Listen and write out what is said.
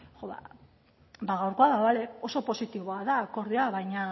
ba gaurkoa bale oso positiboa da akordioa baino